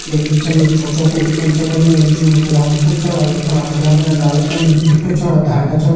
यख बीच मा एक छोटू पुल छ बणयुं जू लोहा कू पुल छ यख फणा हरयां-भरयां डाला छन बिटु छ डालदा छन।